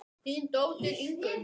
Þín dóttir Ingunn.